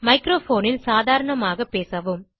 microphone ல் சாதாரணமாக பேசவும்